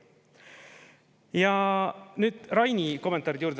Ja nüüd Raini kommentaaride juurde.